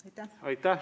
Aitäh!